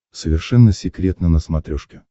совершенно секретно на смотрешке